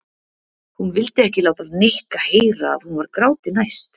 Hún vildi ekki láta Nikka heyra að hún var gráti næst.